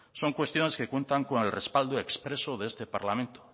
son cuestiones que cuentan con el respaldo expreso de este parlamento